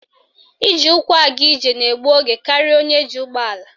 Iji ụkwụ aga ije na egbu oge karịa onye ji ụgbọala